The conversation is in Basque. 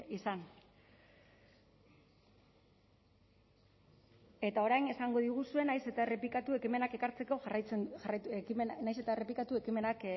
izan eta orain esango diguzue nahiz eta errepikatu ekimenak